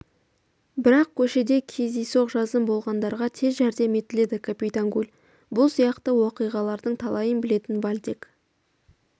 бірақ көшеде кездейсоқ жазым болғандарға тез жәрдем етіледі капитан гуль бұл сияқты уақиғалардың талайын білетін вальдек